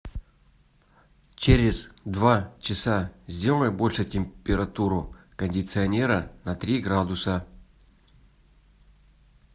через два часа сделай больше температуру кондиционера на три градуса